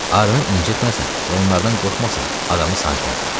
Arını incitməsən və onlardan qorxmasan, adamı sancmazlar.